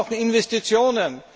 Wir brauchen Investitionen.